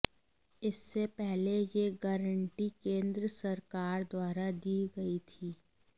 इससे पहले यह गारंटी केंद्र सरकार द्वारा दी गई थी